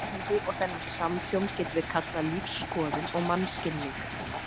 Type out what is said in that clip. Þetta samhengi og þennan samhljóm getum við kallað lífsskoðun og mannskilning.